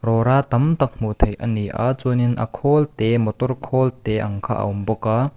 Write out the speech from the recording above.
rawra tam tak hmuh theih a ni a chuanin a khawl te motor khawl te ang kha a awm bawk a.